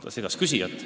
Ta segas küsijat.